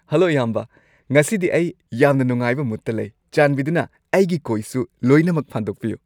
Hello ꯏꯌꯥꯝꯕ꯫ ꯉꯁꯤꯗꯤ ꯑꯩ ꯌꯥꯝꯅ ꯅꯨꯡꯉꯥꯢꯕ ꯃꯨꯗꯇ ꯂꯩ꯫ ꯆꯥꯟꯕꯤꯗꯨꯅ ꯑꯩꯒꯤ ꯀꯣꯏꯁꯨ ꯂꯣꯏꯅꯃꯛ ꯐꯥꯟꯗꯣꯛꯄꯤꯌꯨ꯫